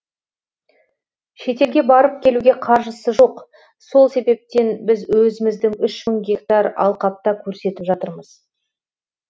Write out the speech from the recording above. шетелге барып келуге қаржысы жоқ сол себептен біз өзіміздің үш мың гектар алқапта көрсетіп жатырмыз